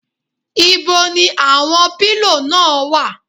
Ibo ni àwọn pílò náà wà?